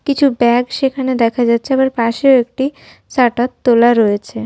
কিছু ব্যাগ সেখানে দেখা যাচ্ছে আবার পাশেও একটি শাটার তোলা রয়েছে।